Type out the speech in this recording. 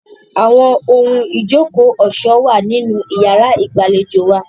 Àwọn ohun ìjókòó ọ̀ṣọ́ wà nínú yàrá ìgbàlejò wa.